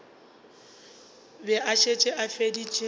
be a šetše a feditše